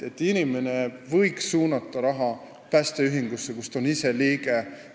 Inimene võiks suunata raha päästeühingusse, mille liige ta ise on.